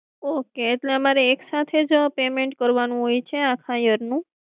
Okay એટલે અમારે એક સાથે જ payment કરવાનું હોય છે આખા year નું?